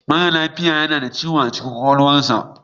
Mara lafiya na da ciwo a cikin kwakwalwarsa.